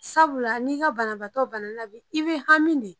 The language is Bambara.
Sabula n'i ka banabaatɔ bana bi i be hami ne